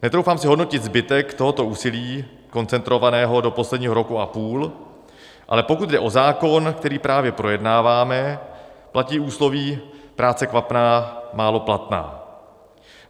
Netroufám si hodnotit zbytek tohoto úsilí koncentrovaného do posledního roku a půl, ale pokud jde o zákon, který právě projednáváme, platí úsloví práce kvapná málo platná.